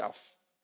Ik sluit